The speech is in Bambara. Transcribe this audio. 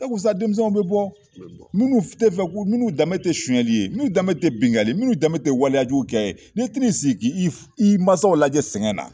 sa denmisɛnw bɛ bɔ minnu tɛ fɛ minnu danbe tɛ sonyali ye minnu danbe tɛ binkali ye minnu danbe tɛ waliyajukɛ ye n'i tɛn'i ssigi ka i mansaw lajɛ sɛgɛn na